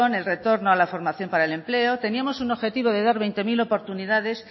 el retorno a la formación para el empleo teníamos un objetivo de dar veinte mil oportunidades